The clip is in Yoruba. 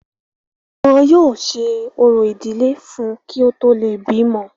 wọn yóò ṣe orò ìdílé fún un kí ó tó le bímọ